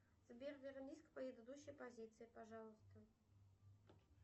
сбер вернись к предыдущей позиции пожалуйста